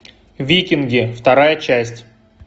викинги вторая часть